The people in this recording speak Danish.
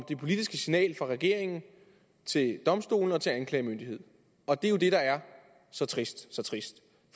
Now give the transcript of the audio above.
det politiske signal fra regeringen til domstolene og til anklagemyndigheden og det er jo det der er så trist så trist